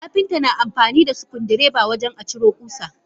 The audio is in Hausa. Kapinta na amfanida sukuddireba wajen aciro kusa.